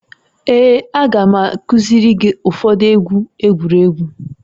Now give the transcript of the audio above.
Ee, a ga m akuziri gị ụfọdụ egwu egwuregwu